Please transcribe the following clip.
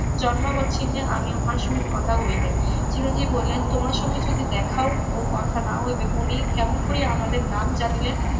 জন্মাবোচ্ছিন্নে আমি উহার সহিত কথা হয় নাই চিরঞ্জিব বলিলেন তোমার সঙ্গে যদি দেখা ও কথা না হইবে উনি কেমন করিয়া আমাদের নাম জানিলেন?